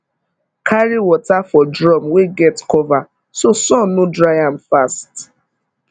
carry water for drum wey get cover so sun no dry am fast